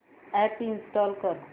app install कर